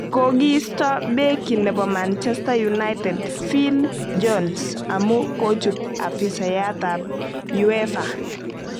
Kokiisto beki nebo manchester united phil jones amu kochub afisayat ab uefa